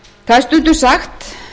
það er stundum sagt